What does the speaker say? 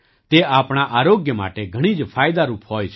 તે આપણા આરોગ્ય માટે ઘણી જ ફાયદારૂપ હોય છે